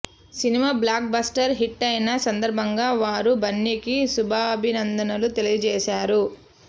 cinema blockbuster హిట్టయిన సందర్భంగా వారు బన్నీకి శుభాభినందనలు తెలియజేశారు